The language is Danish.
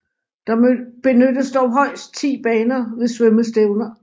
Der benyttes dog højst 10 baner ved svømmestævner